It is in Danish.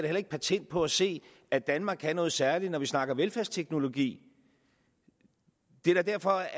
heller ikke patent på at se at danmark kan noget særligt når vi snakker velfærdsteknologi det er da derfor